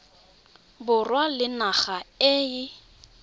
borwa le naga e e